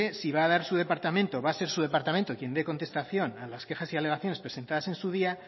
si va a ser su departamento quien dé contestación a las quejas y alegaciones presentadas en su día